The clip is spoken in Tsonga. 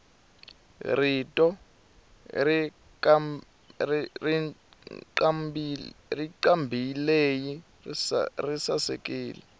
rito rancambileyi risasekile